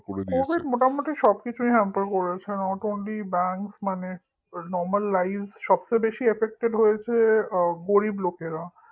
covid মোটামুটি সব কিছুই hamper করেছে not only bank মানে সব কিছুইc normal life মানে সবচেয়ে বেশি affected হয়েছে গরিব লোকেরা